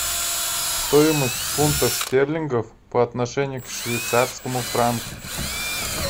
стоимость фунтов стерлингов по отношению к швейцарскому франку